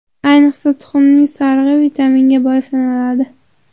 Ayniqsa, tuxumning sarig‘i vitaminga boy sanaladi.